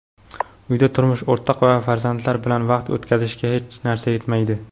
uyda turmush o‘rtoq va farzandlar bilan vaqt o‘tkazishga hech narsa yetmaydi.